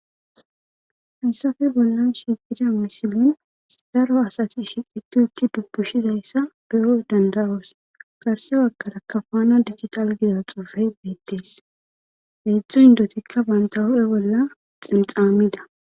hansafe bollan shigida misilin daro asati shiqiti utti dubpushizayssa beyo danda7oos garsyawakara kafana digital gida xofey beettees heedzdzu indotikka banta hu7e bolla xinxamida